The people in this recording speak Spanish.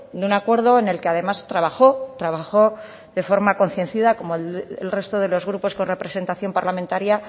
de un acuerdo en el que además trabajó trabajó de forma concienzuda como el resto de los grupos con representación parlamentaria